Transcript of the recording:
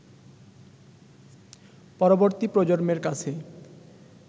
পরবর্তী প্রজন্মের কাছে